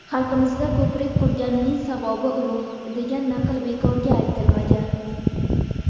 "Xalqimizda "Ko‘prik qurganning savobi ulug‘" degan naql bekorga aytilmagan.